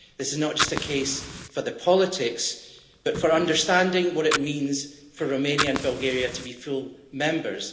This is not just a case for the politics, but for understanding what it means for Romania and Bulgaria to be full members.